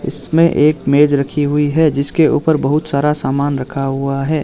इसमें एक मेज रखी हुई है जिसके ऊपर बहोत सारा सामान रखा हुआ है।